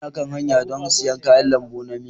Ina kan hanya don siyan kayan lambu na miya.